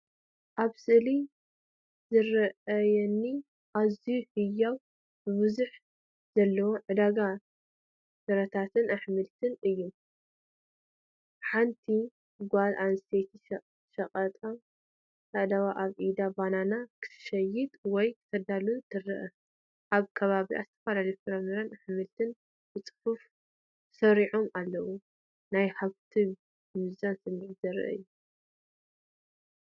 ኣብ ስእሊ ዝረኣየኒ ኣዝዩ ህያውን ብብዝሒ ዘለዎን ዕዳጋ ፍረታትን ኣሕምልትን እዩ። ሓንቲ ጓል ኣንስተይቲ ሸያጢት ኣእዳዋ ኣብ ኢዳ ባናና ክትሸይጥ ወይ ከተዳሉ ትርአ። ኣብ ከባቢኣ ዝተፈላለዩ ፍረታትን ኣሕምልትን ብጽፉፍ ተሰሪዖም ኣለዉ። ናይ ሃብትን ምብዛሕን ስምዒት ዘርኢ እዩ።